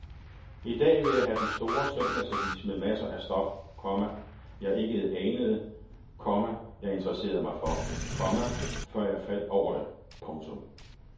I dag vil jeg have den store søndagsavis med masser af stof, komma jeg ikke anede, komma jeg interesserede mig for, komma før jeg faldt over det. punktum